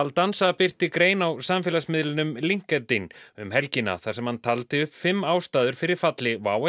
baldanza birti grein á samfélagsmiðlinum Linkedin um helgina þar sem hann taldi upp fimm ástæður fyrir falli WOW